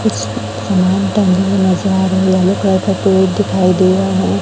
कुछ yellow colour का board दिखाई दे रहा है।